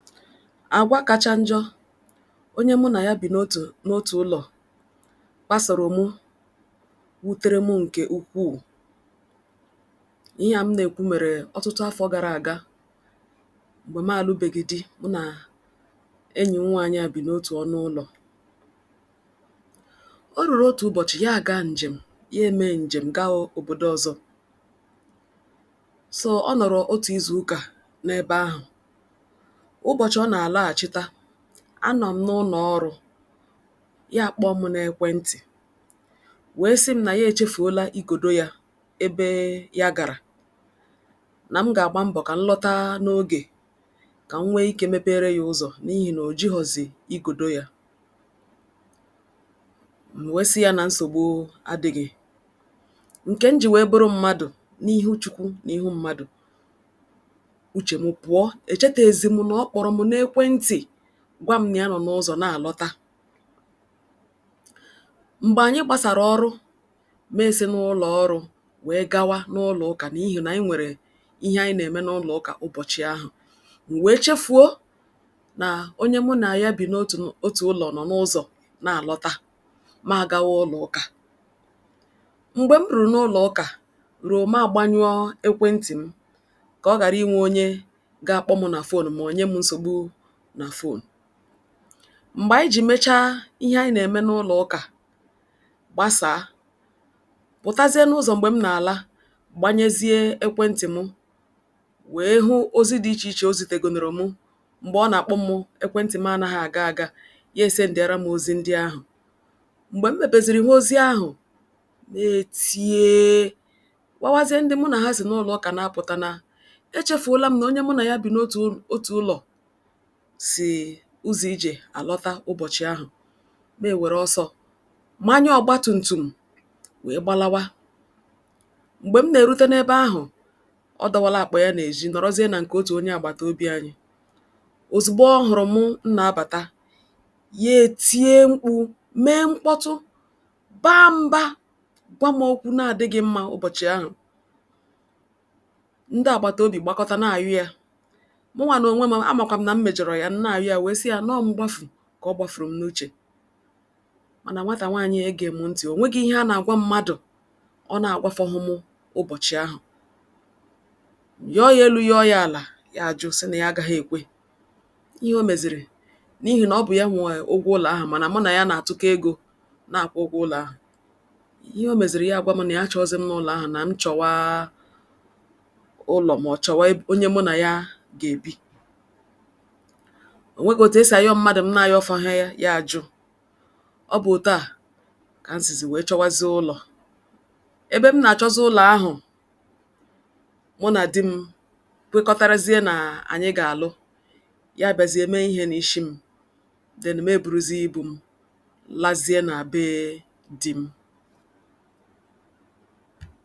Àgwaá kacha njọ onye mụ na ya bi n'otu n'otu ụlọ kpasoro mụ wutere mụ nke ukwuu. Ihe a m na-ekwu mere ọtụtụ afọ gara aga mgbe m alụbeghị di mụ na enyi m nwaanyị a bi n'otu ọnụ ụlọ. O ruru otu ụbọchị ya a gaa njem ya emee njem gaa obodo ọzọ. So, ọ nọrọ otu izu ụka n'ebe ahụ. Ụbọchị ọ na-alọghachita, a nọ m n'ụnọ ọrụ, ya a kpọọ mụ n'ekwentị wee sị m na ya echefuola igodo ya ebe ya gara. Na m ga-agba mbọ ka m lọta n'oge ka m nwee ike mepeere ya ụzọ n'ihi na ojighọzị igodo ya. M wee sị ya na nsogbu adịghị. Nke m ji wee bụrụ mmadụ n'ihu Chukwu na ihu mmadụ, uche m pụọ. E cheteezi m na ọ kpọrọ mụ n'ekwentị gwa m na ya nọ n'ụzọ na-alọta. Mgbe anyị gbasara ọrụ, meesi n'ụlọ ọrụ gawa n'ụlọ ụka n'ihi na anyị nwere ihe anyị na-eme n'ụlọ ụka ụbọchị ahụ. M wee chefuo na onye mụ na ya bi n'otu otu ụlọ nọ n'ụzọ na-alọta. Ma agawa ụlọ ụka. Mgbe m rụrụ n'ụlọ ụka, ru ma agbanyụọ ekwentị m ka ọ gara inwe onye ga-akpọ mụ na phone ma ọ nye m nsogbu na phone. Mgbe anyị jiri mechaa ihe anyị na-eme n'ụlọ ụka gbasaa, pụtazie n'ụzọ mgbe m nagala gbanyezie ekwentị mụ wee hụ ozi dị iche iche o zitegonụrụ mụ mgbe ọ na-akpọ mụ ekwentị m anaghị aga aga, ya esendịara mụ ozi ndị ahụ. Mgbe m mepezịrị hụ ozi ndị ahụ, me etieee kpọwazie ndị mụ na ha si n'ụlọ ụka apụta na echefuola m na onye mụ na ya bi n'otu m otu ụlọ si ụzọ ije a lọta ụbọchị ahụ. Me ewere ọsọ manye ọgbatumtum wee gbalawa. Mgbe m na-erute n'ebe ahụ, ọ dọwala akpa ya n'ejí nọrọzie na nke otu onye agbataobi anyị. Ozugbo ọ hụrụ mụ m na-abata, ya etie mkpu, mee mkpọtụ, baa mba, gwa m okwu na-adịgị mma ụbọchị ahụ. Ndị agbataobi gbakọta na-ayụe. Mụnwa n'onwe m, a makwa m na n mejọrọ ya, m na-ayọe wee sị ya nọọ mgbafu ka ọ gbafuru m n'uche. Mana nwata nwaanyị a egeghị mụ ntị. O nwegi ihe a na-agwa mmadụ ọ na-agwafọhụ mụ ụbọchị ahụ. M yọọ́ ya elu yọọ́ ya ala, ọ sị na ya agaghị ekwe. Ihe o mezịrị, n'ihi na ọ bụ ya nwe ụgwọ ụlọ ahụ mana mụ na ya na-atụkọ ego na-akwụ ụgwọ ụlọ ahụ. Ihe o mezịrị bya agwa m na ya achọghịzị m n'ụlọ ahụ na mụ chọwa ụlọ ma ọ chọwa e onye mụ na ya ga-ebi. O nwegụ otu e si ayọ mmadụ m na-ayọfọhe ya, ya ajụ. Ọ bụ otú a ka m sizi wee chọwazie ụlọ. Ebe m na-achọzị ụlọ ahụ, mụ na di m kwekọrịtazie na anyị ga-alụ. Ya abazie mee ihe n'ishi m. Then, mee eburuzie ibu m lazie na be di m.